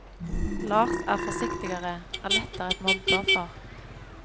Lars er forsiktigere, er lettere et mobbeoffer.